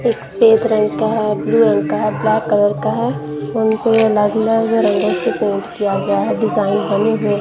एक सफेद रंग का है ब्लू रंग का है ब्लैक कलर का है ये से पेंट किया गया है डिजाइन बने--